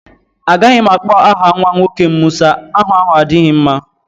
Agaghị m akpọ aha nwa nwoke m Musa. Aha ahụ adighị m mma.